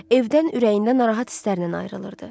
Evdən ürəyi narahat hisslərlə ayrılırdı.